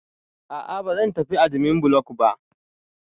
A'a, ba zan tafi admin block ba